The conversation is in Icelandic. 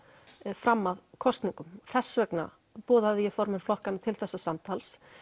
fram að kosningum og þess vegna boðaði ég formenn flokkanna til þessa samtals